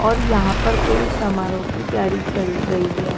और यहां पर कोई समारोह की तैयारी चल रही है।